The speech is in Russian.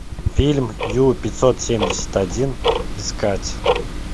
фильм ю пятьсот семьдесят один искать